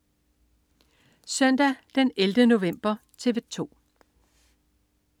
Søndag den 11. november - TV 2: